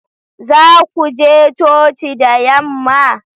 Za ku je coci da yamma?